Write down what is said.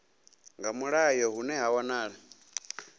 nga mulayo hune ha wanala